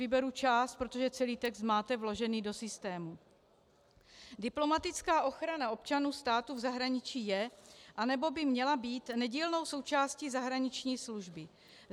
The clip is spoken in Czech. Vyberu část, protože celý text máte vložený do systému: Diplomatická ochrana občanů státu v zahraničí je, anebo by měla být, nedílnou součástí zahraniční služby.